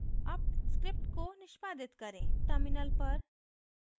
अब स्क्रिप्ट को निष्पादित करें